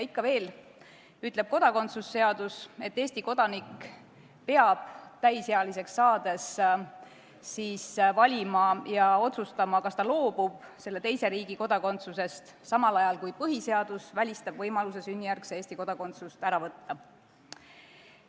Ikka veel ütleb kodakondsuse seadus, et Eesti kodanik peab täisealiseks saades valima ja otsustama, kas ta loobub selle teise riigi kodakondsusest või Eesti kodakondsusest, samal ajal kui põhiseadus välistab võimaluse sünnijärgset Eesti kodakondsust ära võtta.